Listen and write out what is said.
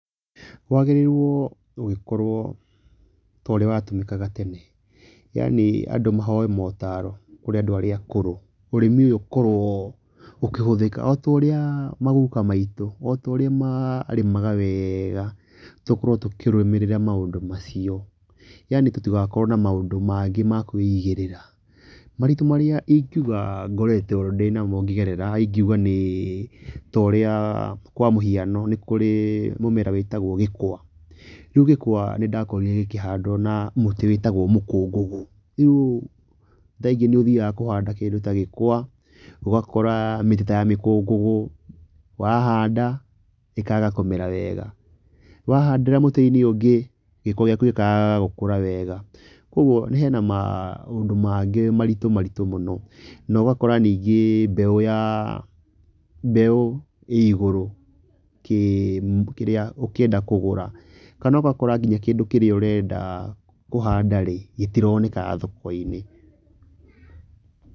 Kwagĩrĩire gũgĩkorwo to ũrĩa wa tũmĩkaga tene yani andũ mahoe motaro kũrĩ andũ arĩa akũrũ , ũrĩmi ũyũ ũkorwo ũkĩhũthĩka otorĩa magũka maitũ otorĩa ma arĩmaga wega tũkorwo tũkĩrũmĩrĩra maũndũ macio yani tũtigakorwo na maũndũ mangĩ makũigĩrĩra. Moritũ marĩa ingiuga ngoretwo ndĩnamo ngĩgerera ingiũga nĩ torĩa kwa míũhiano nĩkũrĩ mũmera wĩtagwo gĩkwa , rĩu gĩkwa nĩndakorire gĩkĩhandwo na mũtĩ wĩtagwo mũkũngũgũ, rĩu kaingĩ nĩthiaga kũhanda kĩndũ ta gĩkwa ũgakora mĩtĩ ta ya mĩkũngũgũ wahanda ĩkaga kũmera wega wahandĩra mũtĩ-inĩ ũngĩ, gĩkwa gĩkaga gĩka wega. Kũoguo hena maũndũ mangĩ maritũ maritũ mũno. Nogakora ningĩ mbeũ ya mbeũ ĩigũrũ kĩrĩa, ũkĩenda kũgũra kana ũgakora kĩndũ kĩrĩa ũrenda kũhanda-rĩ gĩtironeka thoko-inĩ.